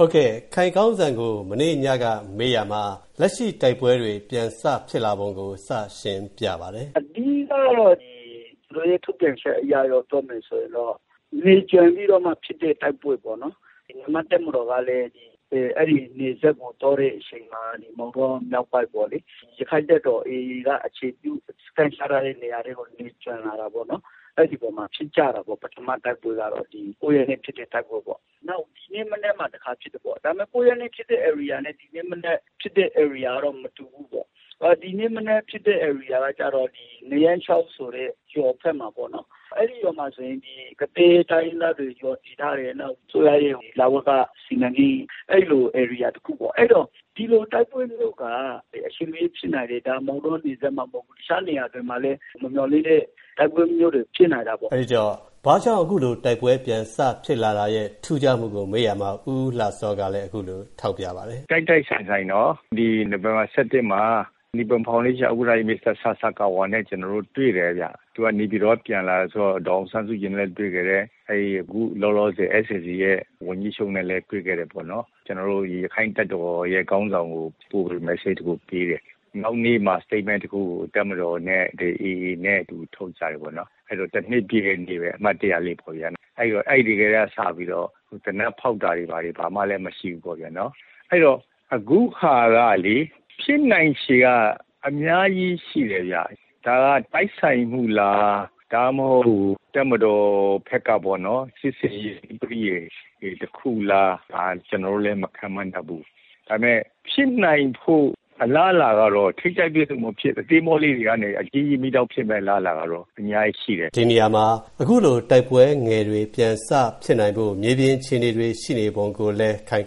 ဟုတ်ကဲ့ ၊ ခိုင်ကောင်းစံ ကို မနေ့ညကမေးရာမှာ လက်ရှိတိုက်ပွဲတွေ စဖြစ်လာပုံကို စရှင်းပြပါတယ်။ သူတို့ရဲ့ ထုတ်ပြန်ချက်အရတော့ နယ်ကြွံပြီးမှ ဖြစ်တဲ့ တိုက်ပွဲပေါ့နော်။ ဗမာ့တပ်မတော်ကလည်း အဲဒီနယ်စပ်ကို သွားတဲ့အချိန်မှာ ဒီမောင်တောမြောက်ပိုင်းပေါ့လေ။ ရခိုင်တပ်တော် AA က အခြေပြုစခန်းချထားတဲ့နေရာထဲကို နယ်ကြွံလာတာပေါ့နော်။ အဲဒီအပေါ်မှာ ဖြစ်ကြတာပေါ့နော်။ ပထမတိုက်ပွဲကတော့ ၉ ရက်နေ့ဖြစ်တဲ့ တိုက်ပွဲပေါ့။ နောက် ဒီနေ့မနက်မှာ တခါဖြစ်တယ်ပေါ့။ ဒါပေမယ့် ၉ ရက်နေ့ဖြစ်တဲ့နေရာနဲ့ ဒီနေ့ဖြစ်တဲ့နေရာက မတူဘူးပေါ့။ ဒီနေ့မနက်ဖြစ်တဲ့ နေရာကတော့ နရန်းချောင်းဆိုတဲ့ ရွာဖက်မှာပေါ့နော်။ အဲဒီရွာမှာဆိုရင် ကသည်းတိုင်းရင်းသားတွေရွာတည်ထားတယ်။ နောက် အစိုးရရဲ့ လဝက စီမံကိန်းအဲဒီလိုနေရာတခုပေါ့။ အဲတော့ဒီလိုတိုက်ပွဲမျိုးက အချိန်မရွေးဖြစ်နိုင်တယ်။ ဒါမောင်တောဒေသမှ မဟုတ်ဘူး။ တခြားနေရာတွေမှာလည်း မမျှော်လင့်တဲ့ တိုက်ပွဲမျိုးတွေ ဖြစ်နိုင်တာပေါ့။ အဲတော့ ဘာကြောင့်အခုလိုတိုက်ပွဲမျိုး ဖြစ်ရာမှာ ထူးခြားမှုကို မေးရာမှာ ဦးဦးလှစော ကလည်း အခုလိုထောက်ပြပါတယ်။ တိုက်တိုက်ဆိုင်ဆိုင်နော် ၊ ဒီနိုဝင်ဘာ ၁၁ မှာ နိပွန်ဖောင်ဒေးရှင်း ဥက္ကဌကြီး မစ္စတာ ဆာဆာကာဝါ နဲ့ ကျနော်တို့ တွေ့တယ်ဗျ။ သူက နေပြည်တော်က ပြန်လာတာဆိုတော့ ဒေါ်အောင်ဆန်းစုကြည်နဲ့လည်းတွေ့ခဲ့တယ်။ အခုလောလောဆယ် SCC ရဲ့ ဝန်ကြီးချုပ်နဲ့ လည်း တွေ့ခဲ့တယ်ပေါ့နော်။ ကျနော်တို့ ရခိုင်တပ်တော်ခေါင်းဆောင်ကို Message တခုပေးတယ်။ နောက်နေ့မှာ Statement တခုကို တပ်မတော်နဲ့ AA နဲ့ အတူထုတ်တယ်။ အဲတော့တနှစ်ပြည့်ပေါ့ဗျာ။ အမှတ်တရလေးပဲ။ အဲဒီကစတယ်ပေါ့ဗျာ။ သေနတ်ဖောက်တာတွေဘာတွေ ဘာမှမရှိဘူးပေါ့ဗျာ။ အခုဟာကလေ ဖြစ်နိုင်ချေက အများကြီးရှိတယ်ဗျ။ ဒါကတိုက်ဆိုင်မှုလား။ ဒါမှမဟုတ် တပ်မတော်ဖက်ကပေါ့ စစ်ဆင်ရေးပရိယယ်တခုလား ၊ ကျနော်တို့လည်း မခန့်မှန်းတတ်ဘူး။ ဒါပေမယ့် ဖြစ်နိုင်ခြေအလားလာကတော့ ဒီနေရာမှာ ထိပ်တိုက်တွေ့ဆုံမှု အသေးအဖွဲလေးတွေကနေ အကြီးကြီးမီးတောက်ဖြစ်မယ့်အလားလာကတော့ အများကြီး ရှိတယ်။ ဒီနေရာမှာ အခုလိုတိုက်ပွဲငယ်တွေပြန်ဖြစ်လာဖို့ မြေပြင်အခြေအနေရှိနေပုံကိုလည်း ခိုင်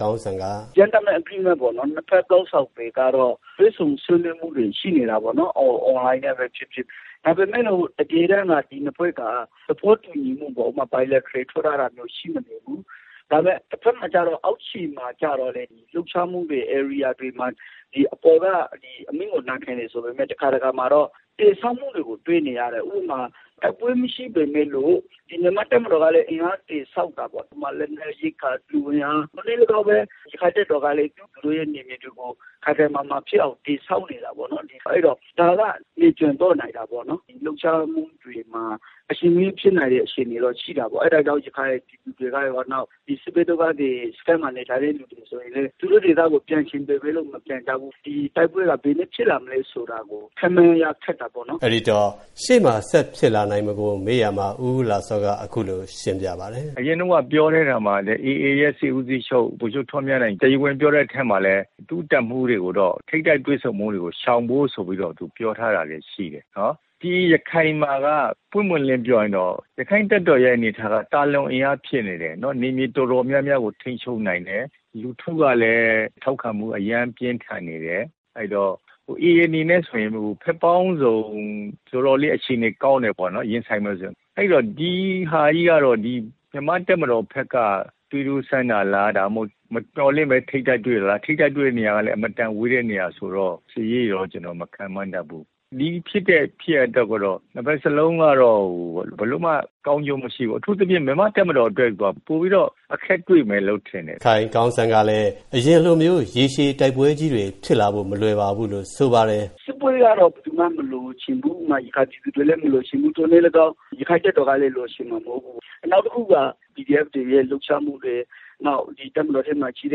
ကောင်းစံ က Gentlemen's agreement ပေါ့ဗျာ။ ၂ဖက်စလုံးကတော့ တွေ့ဆုံဆွေးနွေးမှုတွေရှိနေတာပေါ့နော်။ ဒါပေမယ်လို့ တကယ်တန်းက ဒီနှစ်ဖွဲ့က သဘောတူညီမှုက ဥပမာ Bilateral agreement ထိုးထားတာမျိုးက ရှိမနေဘူး။ ဒါပေမယ့် အောက်ချေမှာကြတော့ လှုပ်ရှားမှုတွေ ဧရိယာတွေမှာ ဒီအပေါ်က အမိန့်ကို နာခံတယ်ဆိုပေမယ့် တည်ဆောက်မှုတွေကို တွေ့နေရတယ်။ ဥပမာ တိုက်ပွဲမရှိပေမယ့်လို့ မြန်မာတပ်မတော်ကလည်း အင်အားတည်ဆောက်တာပေါ့။ ဥပမာ လက်နက် ရိက္ခာ လူအင်အား ရခိုင်တပ်တော်ကလည်း သူတို့ရဲ့ အနေအထားကို ခိုင်ခိုင်မာမာဖြစ်အောင် တည်ဆောက်နေတာပေါ့နော်။ အဲဒီတော့ဒါက နယ်ကြွံသွားတာပေါ့နော်။ လှုပ်ရှားမှုတွေမှာ အချိန်မရွေးဖြစ်နိုင်မှုတော့ရှိတာပေါ့။ အဲဒါကြောင့် ရခိုင်ပြည်သူတွေကရော၊ စစ်ဘေးဒုက္ခသည်စခန်းတွေမှာနေသူတွေကရော သူတို့ဒေသကို ပြန်ချင်ပေမယ့် မပြန်နိုင်ကြဘူး။ ဒီတိုက်ပွဲက ဘယ်နေ့ဆက်ဖြစ်လာမလဲဆိုတာ ခန့်မှန်းရခက်တာပေါ့နော်။ ရှေ့မှာဆက်ဖြစ်လာနိုင်ပုံကိုလည်း ဦးဦးလှစော က အခုလိုပြောပါတယ်။ အရင်တုံးက ပြောခဲ့ရာမှာလည်း AA ရဲ့ စစ်ဦးစီးချုပ် ဗိုလ်ချုပ်ထွန်းမြတ်နိုင် ကိုလည်း သူတပ်မှူးတွေကို ထိပ်တိုက်တွေ့ဆုံတာတွေရှောင်ဖို့ဆိုပြီးတော့ပြောထားတာရှိတယ်။ ရခိုင်မှာက ပွင့်ပွင့်လင်းလင်းပြောရရင် ရခိုင်တပ်တော်ရဲ့ အင်အားက သာလွန်အင်အားဖြစ်နေတယ်။ နယ်မြေတော်တော်များများကို ထိမ်းချုပ်နိုင်တယ်။ လူထုကလည်း ထောက်ခံမှုအရမ်းပြင်းထန်နေတယ်။ AA အနေနဲ့ ဆိုရင် ဘက်ပေါင်းစုံ တော်တော်လေး အခြေအနေကောင်းတယ်ပေါ့နော်။ ရင်ဆိုင်မယ်ဆိုရင်။ အဲတော့ ဒီဟာက မြန်မာတပ်မတော်ဖက်က သွေးစမ်းတာလား မြန်မာတပ်မတော်ဖက် မမျှော်လင့်ပဲထိပ်တိုက်တွေ့တာလား။ ထိပ်တိုက်တွေ့တဲ့နေရာက အတော်ဝေးတဲ့နေရာဆိုတော့ စစ်ရေးကိုတော့ ကျနော်မခန့်မှန်းတတ်ဘူး။ ဒီဖြစ်တဲ့ ကိစ္စအတွက်ကတော့ နှစ်ဖက်စလုံးက ဘယ်သူအတွက်မှ ကောင်းကျိုးမရှိဘူး။ အထူးသဖြင့် မြန်မာ့တပ်မတော့်အတွက်က ပိုပြီးတော့ အခက်တွေ့မယ်ထင်တယ်။ ခိုင်ကောင်းစံ ကလည်း အရင်လိုမျိုး ရေရှည်တိုက်ပွဲကြီးတွေဖြစ်လာဖို့ မလွယ်ပါဘူးလို့ ဆိုပါတယ်။ စစ်ပွဲကတော့ ဘယ်သူမှမလိုချင်ဘူး ။ နောက်တခုက PDF တွေရဲ့လှုပ်ရှားမှုတွေ ၊ တပ်မတော်ထဲမှာရှိကြ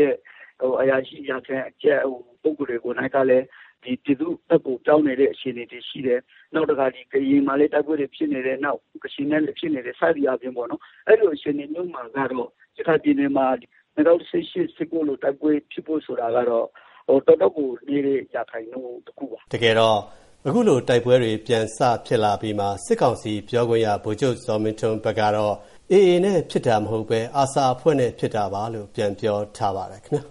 တဲ့ အရာရှိအရာခံ ပုဂ္ဂိုလ်တွေကိုယ်တိုင်ကလည်း ဒီပြည်သူဖက်ကို ပြောင်းနေတဲ့အခြေအနေတွေရှိတယ်။ နောက်တခါ ကရင်မှာလည်း ဒီတိုက်ပွဲတွေရှိတယ်။ နောက်ကချင်နဲ့လည်းဖြစ်နေတယ်။ စသည်အားဖြင့် အဲဒီလိုအခြေအနေမျိုးမှာ ၂ဝ၁၈ ၊၂ဝ၁၉ လိုတိုက်ပွဲတွေဖြစ်ဖို့ဆိုတာမျိုးကတော့ ရာခိုင်နှုန်းတော်တော်နည်းပါတယ်။ တကယ်တော့ အခုလို တိုက်ပွဲတွေပြန်စဖြစ်လာတုံးမှာ စစ်ကောင်စီပြောခွင့်ရ ဗိုလ်ချုပ်ဇော်မင်းထွန်း က AA နဲ့ဖြစ်တာမဟုတ်ပဲ ARSA အဖွဲ့နဲ့ဖြစ်တာပါလို့ ပြန်ပြောထားပါတယ်ခင်ဗျာ။